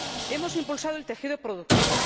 Hemos impulsado el tejido productivo.